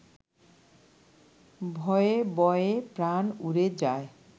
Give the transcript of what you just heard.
ভয়ে বয়ে প্রাণ উড়ে যায়